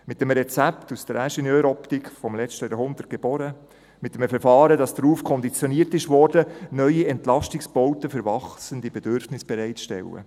Mit einem Rezept, aus der Ingenieuroptik des letzten Jahrhunderts geboren, mit einem Verfahren, das darauf konditioniert wurde, neue Entlastungsbauten für wachsende Bedürfnisse bereit zu stellen.